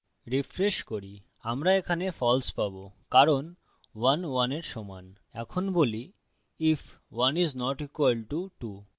refresh করি আমরা এখানে false পাবো কারণ 11 we সমান এখন বলি if 1 is not equal to 2